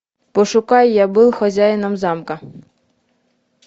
пошукай я был хозяином замка